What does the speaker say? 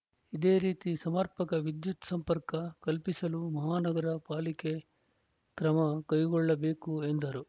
ಇದೇ ರೀತಿ ಸಮರ್ಪಕ ವಿದ್ಯುತ್‌ ಸಂಪರ್ಕ ಕಲ್ಪಿಸಲು ಮಹಾನಗರ ಪಾಲಿಕೆ ಕ್ರಮ ಕೈಗೊಳ್ಳಬೇಕು ಎಂದರು